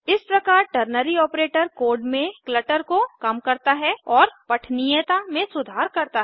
इस प्रकार ternary operator code में क्लटर को कम करता है और पठनीयता में सुधार करता है